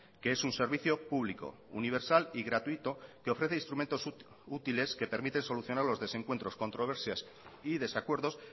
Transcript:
que es un servicio público universal y gratuito que ofrece instrumentos útiles que permiten solucionar los desencuentros controversias y desacuerdos